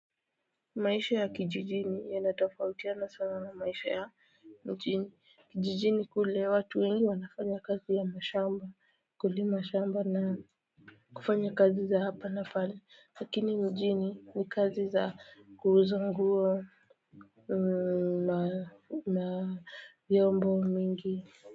Maisha ya kijijini yanatafautia na sana na maisha ya mjini, kijijini kule watu wengi wanafanya kazi ya mashamba kulima shamba na kufanya kazi za hapa pale lakini mjini ni kazi za kuuza nguo na vyombo mingi.